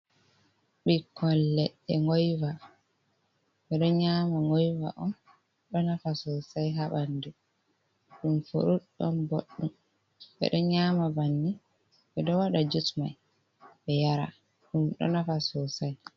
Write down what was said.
Ɓikkol leɗɗe goiva ɓe ɗo nyama ngoiva on ɗo nafa sosai ha ɓandu ɗum furud ɗon boɗɗum ɓe ɗo nyama banni ɓe ɗo wada jutt mai ɓe yara ɗum ɗo nafa sosai.